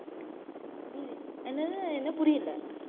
என்னது என்ன புரியல